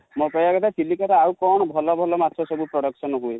ମୋ କହିବା କଥା ହେଲା ଚିଲିକା ରେ ଆଉ କଣ ଭଲ ଭଲ ମାଛ ସବୁ production ହୁଏ?